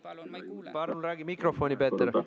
Palun räägi mikrofoni, Peeter!